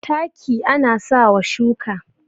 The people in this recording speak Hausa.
taki ana sa wa shuka